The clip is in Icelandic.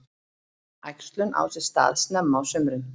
Æxlun á sér stað snemma á sumrin.